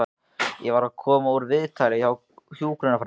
Ég var að koma úr viðtali hjá hjúkrunarfræðingi.